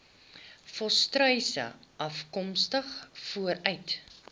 volstruise afkomstig vanuit